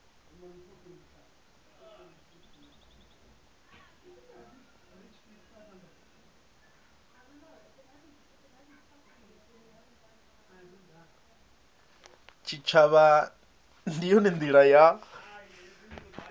tshitshavha ndi yone ndila ya